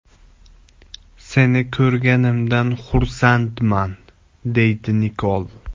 Seni ko‘rganimdan xursandman”, deydi Nikol.